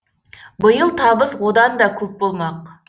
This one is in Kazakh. биыл табыс одан да көп болмақ